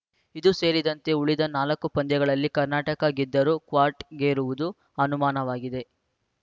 ಇದು ಸೇರಿದಂತೆ ಉಳಿದ ನಾಲ್ಕು ಪಂದ್ಯಗಳಲ್ಲಿ ಕರ್ನಾಟಕ ಗೆದ್ದರೂ ಕ್ವಾಟ್ ಗೇರುವುದು ಅನುಮಾನವಾಗಿದೆ